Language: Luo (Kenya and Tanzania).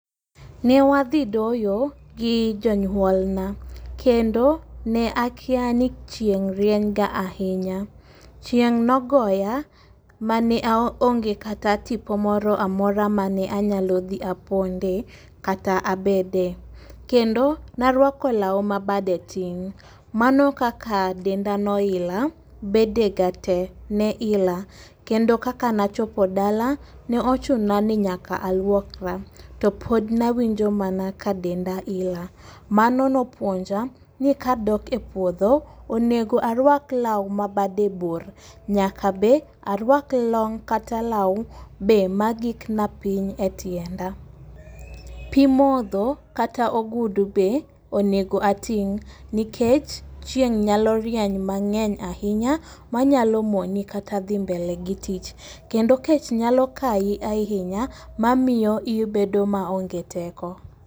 Ne wadhi doyo gi janyuol na kendo ne akia ni chieng' rieny ga ahinya. Chieng' nogoya mane ao onge kata tipo moramora mane anyalo dhi aponde kata abede. Kendo narwako law ma bade tin mano kaka denda noila bede ga tee ne ila kendo kaka nachopo dala ne ochuna ni nyaka aluokra to pod nawinjo mana ka denda ila. Mano nopuonja ni kadok e puodho onego arwak law ma bade bor. Nyaka be arwak long kata law magik ma piny e tiende. Pii modho kata ogudu be onego ating' nikech chieng' nyalo rieny mang'eny ahinya manyalo moni kata dhi mbele gi tich kendo kech nyalo kayi ahinya mamiyo ibedo maonge teko.